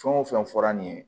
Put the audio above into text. Fɛn o fɛn fɔra nin ye